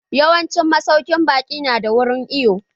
Yawancin masaukin baƙi nada wurin iwo.